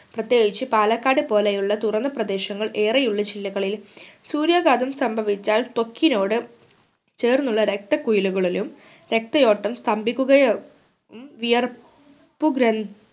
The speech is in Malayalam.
പ്രത്യേകിച്ച് പാലക്കാട് പോലെ ഉള്ള തുറന്ന പ്രദേശങ്ങൾ ഏറെ ഉള്ള ജില്ലകളിൽ സൂര്യാഘാതം സംഭവിച്ചാൽ തൊക്കിനോട് ചേർന്നുള്ള രക്ത കുഴലികളിലും രക്തയോട്ടം സ്‍തംഭിക്കുകയും ഉം വിയർപ്